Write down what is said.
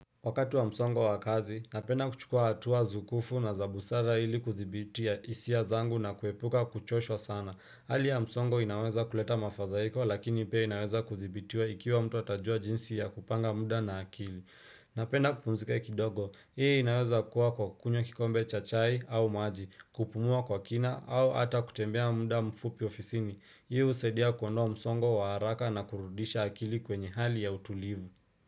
Wakati wa msongo wa kazi, napenda kuchukuwa hatua zukufu na za busara ili kudhibitia hisia zangu na kuepuka kuchoshwa sana. Hali ya msongo inaweza kuleta mafadhaiko lakini pia inaweza kudhibitia ikiwa mtu ata jua jinsi ya kupanga muda na akili. Napenda kupumzika kidogo, hii inaweza kuwa kwa kukunywa kikombe cha chai au maji, kupumua kwa kina au ata kutembea muda mfupi ofisini. Hii husaidia kuondoa msongo wa haraka na kurudisha akili kwenye hali ya utulivu.